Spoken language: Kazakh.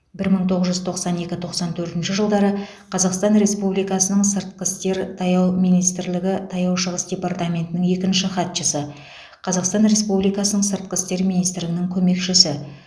бір мың тогыз жүз тоқсан екі тоқсан төртінші жылдары қазақстан республикасының сыртқы істер таяу министрлігі таяу шығыс департаментінің екінші хатшысы қазақстан республикасының сыртқы істер министрінің көмекшісі